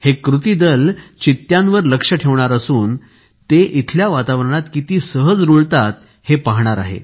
हे कृती दल चित्त्यांवर लक्ष ठेवणार असून ते इथल्या वातावरणात किती सहज रूळतात हे पाहणार आहे